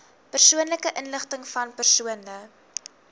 persoonlike inligtingvan persone